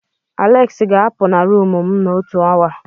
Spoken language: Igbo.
Aleksi ga-apu na rumụ m n'otu awa.